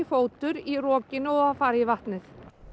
fótur í rokinu og það fari í vatnið